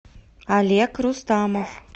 олег рустамов